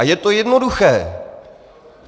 A je to jednoduché.